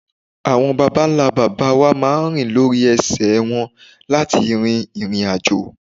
Àwọn bàbá ńlá babawa máa rìn lórí ese won láti rin ìrìn àjò.